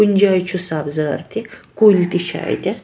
.کُنہِ جایہِ چُھ سبزارتہِ کُلۍتہِ چھ اَتٮ۪تھ